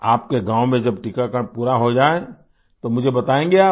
आपके गाँव में जब टीकाकरण पूरा हो जाए तो मुझे बताएँगे आप